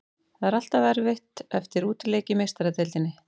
Það er alltaf erfitt eftir útileik í Meistaradeildinni.